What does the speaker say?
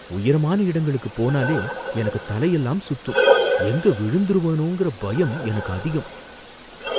உயரமான இடங்களுக்கு போனாலே எனக்கு தலையெல்லாம் சுத்தும், எங்க விழுந்திருவேனோங்கிற பயம் எனக்கு அதிகம்.